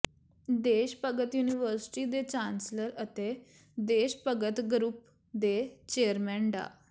ਦੇਸ਼ ਭਗਤ ਯੂਨੀਵਰਸਿਟੀ ਦੇ ਚਾਂਸਲਰ ਅਤੇ ਦੇਸ਼ ਭਗਤ ਗਰੁੱਪ ਦੇ ਚੇਅਰਮੈਨ ਡਾ